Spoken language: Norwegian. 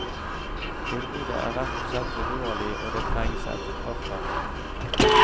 Tilbudet er rett og slett for dårlig og det trengs et krafttak.